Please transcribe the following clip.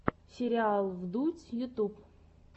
сериал вдудь ютуб